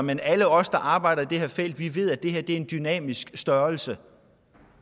men alle os der arbejder i det her felt ved at det her er en dynamisk størrelse